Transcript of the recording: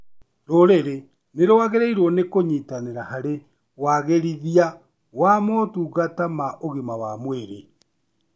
Rũrĩrĩ nĩrwagĩrĩirwo nĩ kũnyitanĩra harĩ wagĩrithia wa motungata ma ũgima wa mwĩrĩ